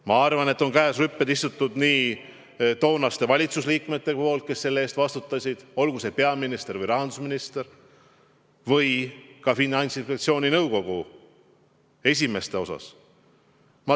Ma arvan, et käed rüpes on istunud toonased valitsuse liikmed, kes selle eest vastutasid, olgu see peaminister või rahandusminister, ja ka Finantsinspektsiooni nõukogu esimeste seas.